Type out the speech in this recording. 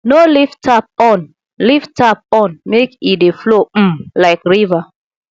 no leave tap on leave tap on make e dey flow um like river